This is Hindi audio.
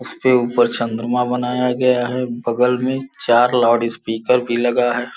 उसके ऊपर चंद्रमा बनाया गया है। बगल में चार लाउडस्पीकर भी लगा है।